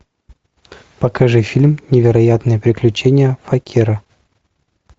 покажи фильм невероятные приключения факира